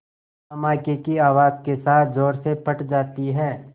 धमाके की आवाज़ के साथ ज़ोर से फट जाती है